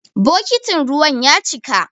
Bokitin ruwan ya cika.